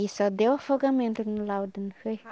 E só deu afogamento no laudo, não foi?